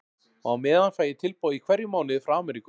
Og á meðan fæ ég tilboð í hverjum mánuði frá Amríku.